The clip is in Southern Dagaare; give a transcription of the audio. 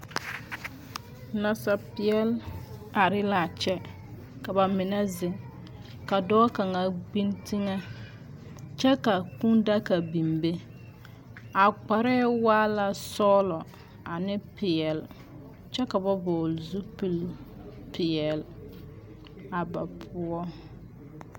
Nasapeɛl are l’a kyɛ ka bamine zeŋ. Ka dɔɔ kaŋa gbiŋ teŋɛ kyɛ ka kŭŭ-daka biŋ be. A kparɛɛ waa la sɔɔlɔ ane peɛl kyɛ ka ba vɔgele zupilpeɛl a ba poɔ.